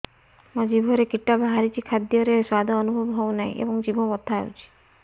ମୋ ଜିଭରେ କିଟା ବାହାରିଛି ଖାଦ୍ଯୟରେ ସ୍ୱାଦ ଅନୁଭବ ହଉନାହିଁ ଏବଂ ଜିଭ ବଥା ହଉଛି